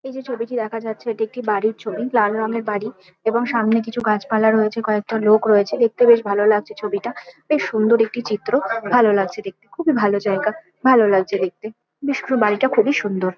এই যে ছবিটি দেখা যাচ্ছে এটি একটি বাড়ির ছবি। লাল রঙের বাড়ি এবং সামনে কিছু গাছপালা রয়েছে কয়েকটা লোক রয়েছে দেখতে বেশ ভালো লাগছে ছবিটা। বেশ সুন্দর একটি চিত্র ভালো লাগছে দেখতে খুবই ভালো জায়গা। ভালো লাগছে দেখতে বেশ পুরো বাড়িটা খুবই সুন্দর।